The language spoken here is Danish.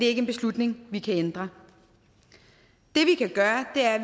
ikke en beslutning vi kan ændre det vi kan gøre er at